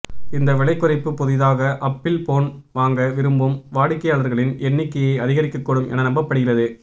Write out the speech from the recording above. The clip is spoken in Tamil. இந்த விலைக்குறைப்பு புதிதாக அப்பிள் போன் வாங்க விரும்பும் வாடிக்கையாளர்களின் எண்ணிக்கையை அதிகரிக்கக்கூடும் என நம்பப்படுகிறது